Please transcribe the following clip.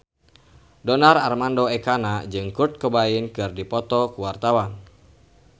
Donar Armando Ekana jeung Kurt Cobain keur dipoto ku wartawan